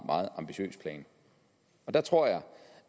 ambitiøs plan og der tror jeg